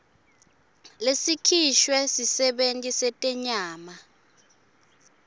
lesikhishwe sisebenti setenyama